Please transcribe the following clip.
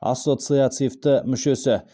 ассоциацивті мүшесі